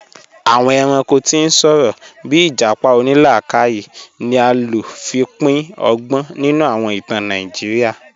Awọn èrànko tí n sọ̀rọ̀, bíì ijápá onílàkàyè ni a ló fi pín ọ̀gbọn nínu awọn ìtàn Nàìjíríà